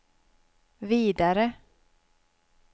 vidare